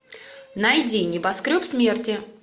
найди небоскреб смерти